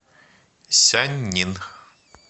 сяньнин